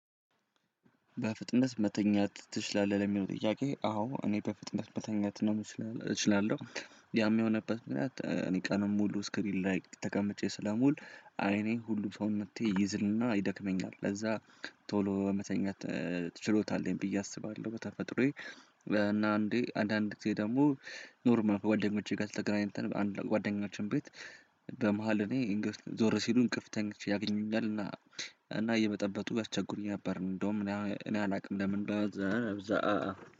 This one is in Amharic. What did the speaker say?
በፍጥነት መተኛት ትችላለህ ለሚለው ጥያቄ? አዎ እኔ በፍጥነት መተኛት ነው እችላለሁ። ያም የሆነበት ምክንያት እኔ ቀንም ሙሉ ስክሪን ላይ ተቀምጬ ስለሙሉ አይኔን ሁሉ ሰው መጥቼ ይዝልና ይደክመኛል ለዛ። ቶሎ በመተኛት ትችሎታለኝ ብዬ አስባለሁ። በተፈጥሮዬ እንዴ አንዳንድ ጊዜ ደግሞ ኖርማል ጓደኞቼ ጋር ስተግራኝ አንድ ጓደኞቼን ቤት። እኔ እንግፍ ዞር ሲሉ እንቅፍተኛ ያገኛል እና እና እየመጠበጡ ያስቸጉሩኝ ነበር። እንደውም እኔ እኔ አላውቅም ለምንድነው እዛ ነብዛ